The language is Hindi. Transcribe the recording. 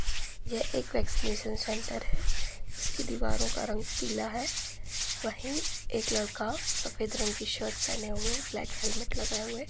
यह एक वेक्सिनेसन सेंटर है। इसकी दीवारों का रंग पिला है। वही एक लड़का सफेद रंग की शर्ट पहैने हुए ब्लेक हैलमेट लगाए हुए --